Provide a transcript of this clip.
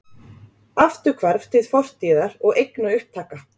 Afturhvarf til fortíðar og eignaupptaka